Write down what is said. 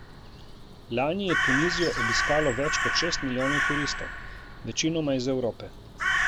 Lani je Tunizijo obiskalo več kot šest milijonov turistov, večinoma iz Evrope.